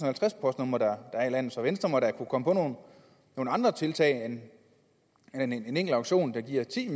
halvtreds postnumre der er i landet så venstre må da kunne komme på nogle andre tiltag end en enkelt auktion der giver ti